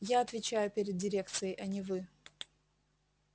я отвечаю перед дирекцией а не вы